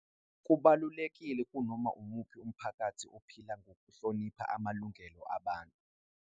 Kubalulekile kunoma umuphi umphakathi ophila ngokuhlonipha amalungelo abantu.